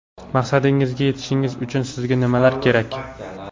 Maqsadingizga yetish uchun sizga nimalar kerak?